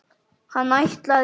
Hann ætlaði.